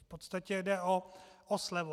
V podstatě jde o slevu.